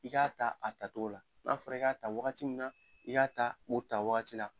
I k'a ta a tatogo la. N'a fɔra i k'a ta wagati min na, i y'a ta o ta wagati la.